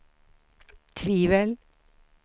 tvivel